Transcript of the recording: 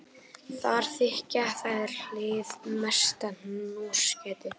Þar þykja þær hið mesta hnossgæti.